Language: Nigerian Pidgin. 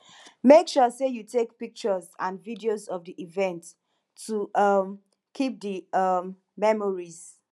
make sure say you take pictures and videos of the event to um keep the um memories